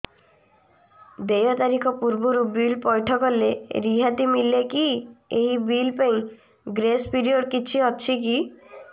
ଦେୟ ତାରିଖ ପୂର୍ବରୁ ବିଲ୍ ପୈଠ କଲେ ରିହାତି ମିଲେକି ଏହି ବିଲ୍ ପାଇଁ ଗ୍ରେସ୍ ପିରିୟଡ଼ କିଛି ଅଛିକି